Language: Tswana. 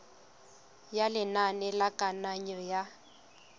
ya lenane la kananyo ya